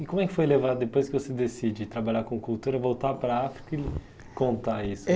E como é que foi levar, depois que você decide trabalhar com cultura, voltar para a África e contar isso? Eh